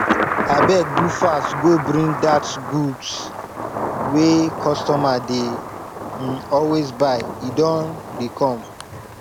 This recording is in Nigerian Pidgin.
abeg do fast go bring dat goods wey customer dey um always buy e don dey come